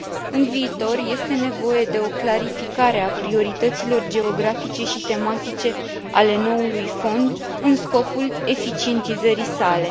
În viitor, este nevoie de o clarificare a priorităților geografice și tematice ale noului fond în scopul eficientizării sale.